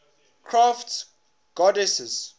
crafts goddesses